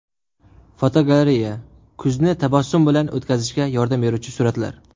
Fotogalereya: Kuzni tabassum bilan o‘tkazishga yordam beruvchi suratlar.